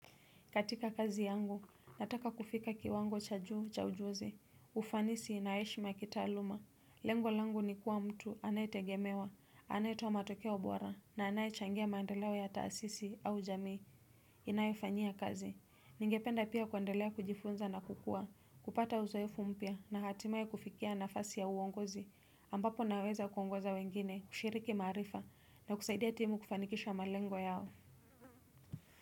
Katika kazi yangu, nataka kufika kiwango cha juu cha ujuzi, ufanisi inaheshima kitaaluma. Lengo langu nikuwa mtu anayetegemewa, anayetoa matokeo bora, na anayechangia mandeleo ya taasisi au jamii. Inaefanyia kazi. Ningependa pia kuendelea kujifunza na kukua, kupata uzoefu mpya, na hatimaye kufikia nafasi ya uongozi, ambapo naweza kuongoza wengine, kushiriki maarifa, na kusaidia timu kufanikisha malengo yao.